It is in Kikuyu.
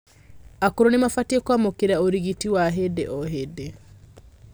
Akũrũ nimabatie kuamukira urigiti wa hĩndĩ o hĩndĩ